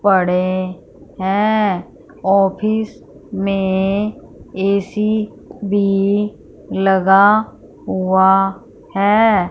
पड़े हैं ऑफिस में ए_सी भी लगा हुआ है।